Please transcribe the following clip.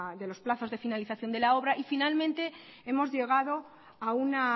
de los plazos de la finalización de la obra y finalmente hemos llegado a una